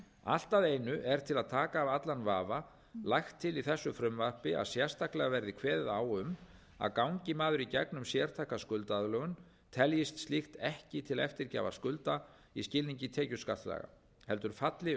allt að einu er til að taka af allan vafa lagt til í þessu frumvarpi að sérstaklega verði kveðið á um að gangi maður í gegnum sértæka skuldaaðlögun teljist slíkt ekki til eftirgjafar skulda í skilningi tekjuskattslaga heldur falli